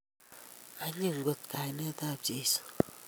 Anyiny kot kainetab Jesu